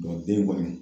den kɔni